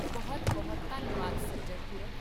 ਬਹੁਤ ਬਹੁਤ ਧੰਨਵਾਦ ਸੱਜਣ ਪੁਰਖ!